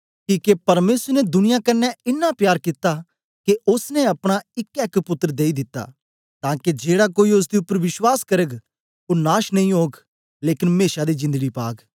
किके परमेसर ने दुनियां कन्ने इन्ना प्यार कित्ता के ओसने अपना इकै एक पुत्तर देई दिता तां के जेड़ा कोई ओसदे उपर विश्वास करग ओ नाश नेई ओग लेकन मेशा दी जिंदड़ी पाग